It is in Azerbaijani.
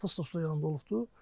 Atası da suda yanında olubdur.